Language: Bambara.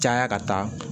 Caya ka taa